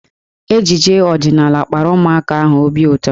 Ejije ọdịnaala kpara ụmụaka ahụ obi ụtọ.